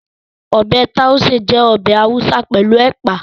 Ọbẹ̀ Tàúṣé jẹ́ ọbẹ̀ Haúsá pẹ̀lú Ẹ̀pà